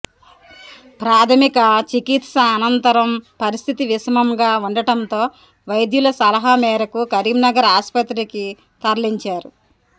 ప్రాథమిక చికి త్స అనంతరం పరస్థితి విషమంగా ఉండటంతో వైద్యుల సలహ మేరకు కరీంనగర్ ఆస్పత్రికి తరలించారు